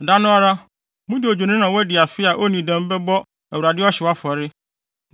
Da no ara, mode odwennini a wadi afe a onnii dɛm bɛbɔ Awurade ɔhyew afɔre,